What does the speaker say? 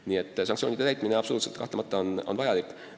Nii et sanktsioonide täitmine on kahtlemata ülimalt vajalik.